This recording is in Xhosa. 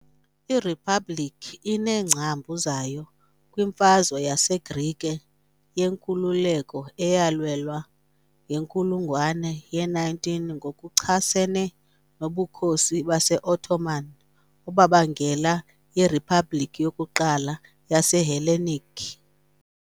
IRiphabhlikhi ineengcambu zayo kwiMfazwe yaseGrike yeNkululeko eyalwelwa ngenkulungwane ye-19 ngokuchasene noBukhosi baseOttoman, obabangela iRiphabhliki yokuQala yaseHellenic .